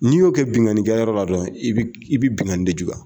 N'i y'o kɛ binkanikɛ yɔrɔ la dɔrɔw i bi i bi binkani de jugu.